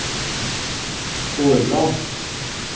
Årland